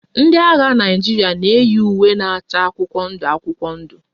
Ndị agha Naịjirịa na-eyi uwe na-acha akwụkwọ ndụ akwụkwọ ndụ